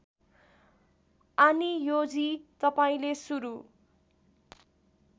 आनियोजी तपाईँले सुरु